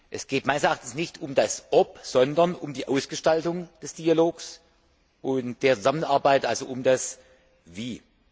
Es geht meines Erachtens nicht um das Ob, sondern um die Ausgestaltung des Dialogs und der Zusammenarbeit, also um das Wie.